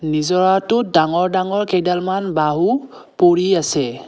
নিজৰাটোত ডাঙৰ-ডাঙৰ কেইডালমান বাঁহ ও পৰি আছে।